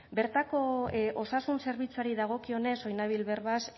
bertako osasun zerbitzuari dagokionez orain nabil berbaz